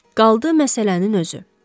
Qaldı məsələnin özü.